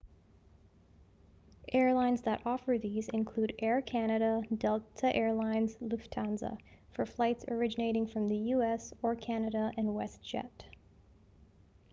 airlines that offer these include air canada delta air lines lufthansa for flights originating from the u.s. or canada and westjet